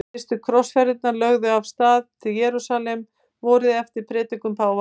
Fyrstu krossfararnir lögðu af stað til Jerúsalem vorið eftir predikun páfa.